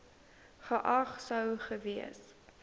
geag sou gewees